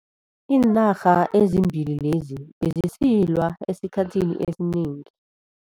Iinarha ezimbili lezi bezisilwa esikhathini esinengi.